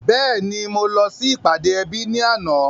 Bẹ́ẹ̀ni mo lọ sí ìpàdé ẹbí ní àná.